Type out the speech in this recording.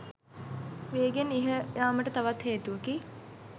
වේගයෙන් ඉහළයාමට තවත් හේතුවකි.